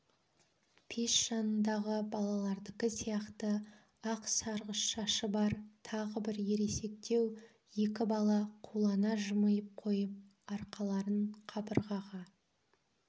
пеш жанындағы балалардікі сияқты ақ сарғыш шашы бар тағы бір ересектеу екі бала қулана жымиып қойып арқаларын қабырғаға